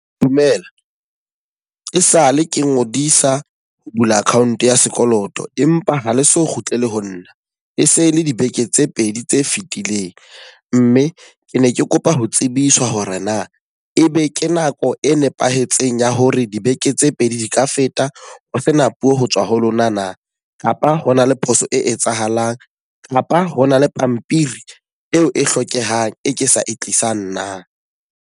Dumela, e sale ke ngodisa ho bula account ya sekoloto. Empa ha le so kgutlele ho nna. E se le dibeke tse pedi tse fitileng. Mme ke ne ke kopa ho tsebiswa hore na e be ke nako e nepahetseng ya hore dibeke tse pedi di ka feta ho sena puo ho tswa ho lona na? Kapa hona le phoso e etsahalang? Kapa hona le pampiri eo e hlokehang e ke sa e tlisang na?